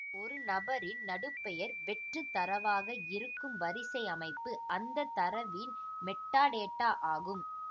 ஒரு நபரின் நடுப்பெயர் வெற்று தரவாக இருக்கும் வரிசை அமைப்பு அந்த தரவின் மெட்டாடேட்டா ஆகும்